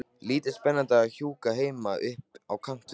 Lítið spennandi að húka heima upp á kant við kallinn.